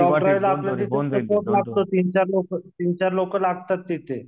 job ड्राईव्हचा आपल्याला तिथे रिपोर्ट लागतो तीन चार लोक लागतात तिथे